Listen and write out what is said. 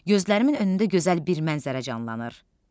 Gözlərimin önündə gözəl bir mənzərə canlanır.